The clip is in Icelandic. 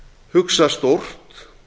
hugsa stórt